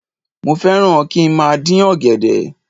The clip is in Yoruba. Mo fẹ́ràn kí n má a dín ọ̀gẹ̀dẹ̀